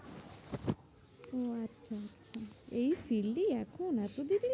আহ আচ্ছা আচ্ছা, এই ফিরলি এখন এত দেরি হয়ে